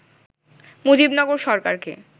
মুজিবনগর সরকারকে